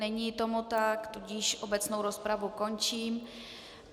Není tomu tak, tudíž obecnou rozpravu končím.